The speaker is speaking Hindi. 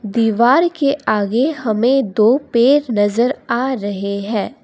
दीवार के आगे हमें दो पेड़ नजर आ रहे हैं।